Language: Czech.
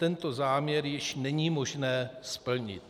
Tento záměr již není možné splnit.